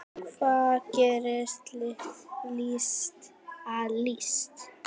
Hvað gerir list að list?